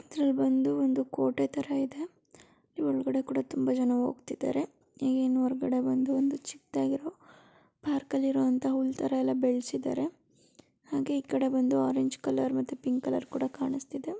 ಇದ್ರಲ್ಲಿ ಬಂದು ಒಂದು ಕೋಟೆ ತರ ಇದೆ ಈ ಒಳ್ಗಡೆ ಕೂಡ ತುಂಬ ಜನ ಹೋಗ್ತಿದ್ದಾರೆ ಈಗ್ ಇನ್ನು ಹೊರ್ಗಡೆ ಬಂದು ಒಂದು ಚಿಕ್ದಾಗಿರೊ ಪರ್ಕಲ್ಲಿರೊಂತಹ ಹುಲ್ ತರ ಎಲ್ಲ ಬೆಳ್ಸಿದ್ದಾರೆ ಹಾಗೆ ಈ ಕಡೆ ಬಂದು ಆರೆಂಜ್ ಕಲರ್ ಮತ್ತೆ ಪಿಂಕ್ ಕಲರ್ ಕೂಡ ಕಾಣಿಸ್ತದೆ.